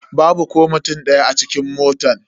Babu ko mutum daya a cikin motan.